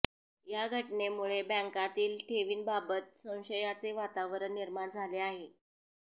या घटनेमुळेे बँकातील ठेवींबाबत संशयाचे वातावरण निर्माण झाले आहे